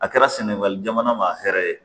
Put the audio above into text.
A kɛra sɛnɛgali jamana ma hɛrɛ ye